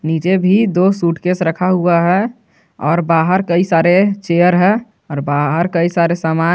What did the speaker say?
नीचे भी दो सूटकेस रखा हुआ है और बाहर कई सारे चेयर है और बाहर कई सारे सामान हैं।